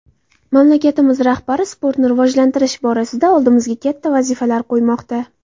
Mamlakatimiz rahbari sportni rivojlantirish borasida oldimizga katta vazifalar qo‘ymoqda.